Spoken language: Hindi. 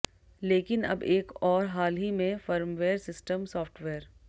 लेकिन अब एक और हाल ही में फर्मवेयर सिस्टम सॉफ्टवेयर